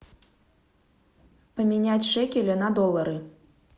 поменять шекели на доллары